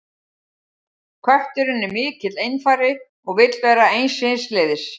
Kötturinn er mikill einfari og vill vera eins síns liðs.